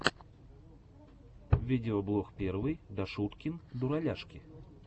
видеоблог первый дашуткин дураляшки